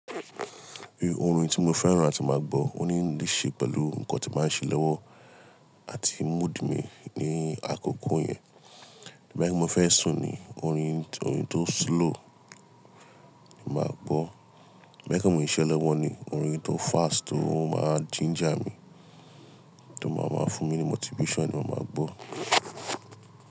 Orin tí mo fẹ́ràn láti máa gbọ́ ó ní í ṣe pẹ̀lú ǹkan tí n ba ń ṣe lọ́wọ́ àti mood mi ní àkókò yẹn. Boya mo fẹ́ sùn ni, orin tó slow mo máa gbọ́. Bí i pe mo ń ṣiṣẹ lọwọ ni, orin tó fast tó máa ginger mi, tó máa máa fún mi ní motivation ni mo máa gbọ́.